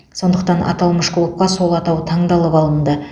сондықтан аталмыш клубқа сол атау таңдалып алынды